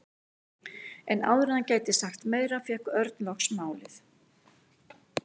En áður en hann gæti sagt meira fékk Örn loks málið.